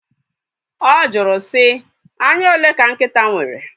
Ọ jụrụ sị, anya ole ka nkịta nwere?